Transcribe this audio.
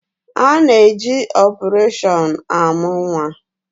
A na-eje opereshọn amụ nnwa